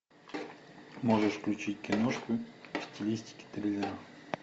можешь включить киношку в стилистике триллера